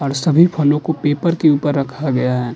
और सभी फलों को पेपर के ऊपर रखा गया है।